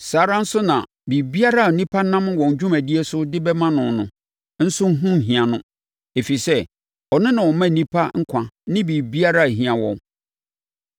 Saa ara nso na biribiara a nnipa nam wɔn dwumadie so de bɛma no no nso ho nhia no, ɛfiri sɛ, ɔno na ɔma nnipa nkwa ne biribiara a ɛhia wɔn.